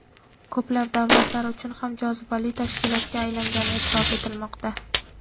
ko‘plab davlatlar uchun ham jozibali tashkilotga aylangani eʼtirof etilmoqda.